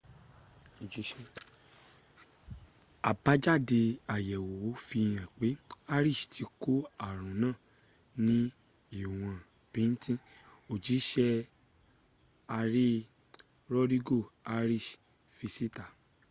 àbájádẹ àyèwò fihàn pé arias ti kó aàrùn náà ní íwọn bíntín òjísé ààrẹ rodrigo arias fi síta